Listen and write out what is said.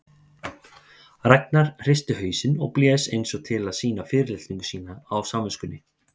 Ragnar hristi hausinn og blés eins og til að sýna fyrirlitningu sína á samviskunni.